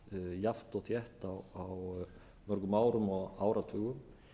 jafnt og þétt á mörgum árum og áratugum